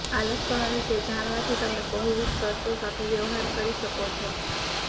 આ લક્ષણો વિશે જાણવાથી તમે બહુવિધ શરતો સાથે વ્યવહાર કરી શકો છો